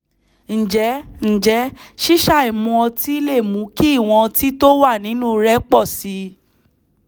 ǹjẹ́ ǹjẹ́ ṣíṣàì mu ọtí lè mú kí ìwọ̀n ọtí tó wà nínú rẹ̀ pọ̀ sí i?